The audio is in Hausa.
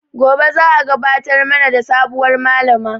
Gobe za a gabatar mana da sabuwar Malama